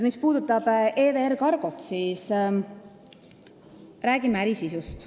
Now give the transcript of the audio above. Mis puudutab EVR Cargot, siis räägime äri sisust.